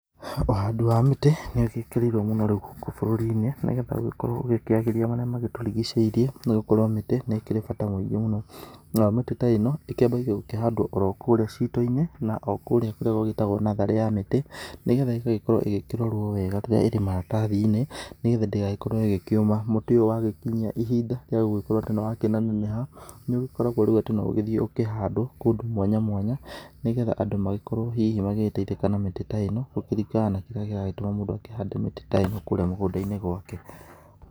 Ũhandi wa mĩtĩ nĩ ũgĩkĩrĩirwo mũno rĩu gũkũ bũrũri-inĩ, nĩgetha ũgĩkorwo ũgĩkorwo ũgĩkĩagĩria marĩa matũrigicĩirie. Nĩ gũkorwo mĩtĩ nĩ ĩkĩrĩ bata mũngĩ mũno, nayo mĩtĩ ta ĩno ĩkĩambagia gũkĩhandwo kũrĩa cito-inĩ na okũrĩa kũrĩa gũgĩtagwo natharĩ ya mĩtĩ. Nĩgetha ĩgagĩkorwo ĩgĩkĩrorwo wega rĩrĩa ĩ maratathi-inĩ nĩgetha ndĩgagĩkorwo ĩgĩkĩũma. Mũtĩ ũyũ wa gĩkinyia ihinda rĩa gũgĩkorwo atĩ nĩ wa kĩnenaneneha, nĩ ũgĩkoragwo atĩ rĩu no ũgĩthiĩ ũkĩhandwo kũndũ mwanya mwanya, nĩgetha andũ magĩkorwo hihi magĩgĩteithĩka na mĩtĩ ta ĩo, kũringana na kĩria kĩragĩtũma mũndũ akĩhande mĩtĩ ta ĩno kũrĩa mũgũnda-inĩ gwake.